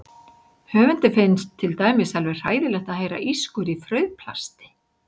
Höfundi finnst til dæmis alveg hræðilegt að heyra ískur í frauðplasti.